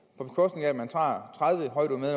på bekostning af at man tager